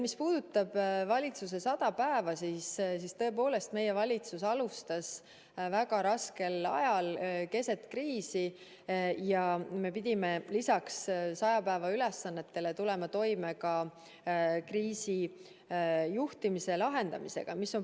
Mis puudutab valitsuse sadat päeva, siis tõepoolest, meie valitsus alustas väga raskel ajal, keset kriisi ja me pidime lisaks saja päeva ülesannetele tulema toime ka kriisi juhtimise ja lahendamisega.